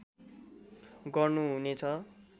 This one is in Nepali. गर्नु हुने छ